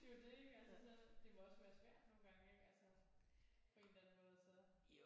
Det er jo det ikke altså så det må også være svært nogle gange ikke altså på en eller anden måde så